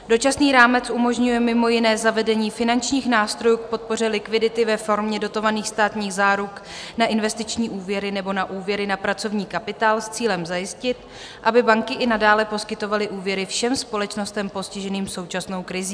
Dočasný rámec umožňuje mimo jiné zavedení finančních nástrojů k podpoře likvidity ve formě dotovaných státních záruk na investiční úvěry nebo na úvěry na pracovní kapitál s cílem zajistit, aby banky i nadále poskytovaly úvěry všem společnostem postiženým současnou krizí.